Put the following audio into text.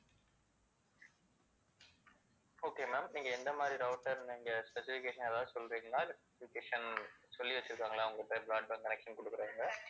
okay ma'am, நீங்க எந்த மாதிரி router நீங்க specification ஏதாவது சொல்றிங்களா இல்ல specification சொல்லி வச்சுருக்காங்களா உங்கள்ட்ட broadband connection குடுக்குறவங்க?